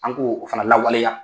An k'o fana lawaleya.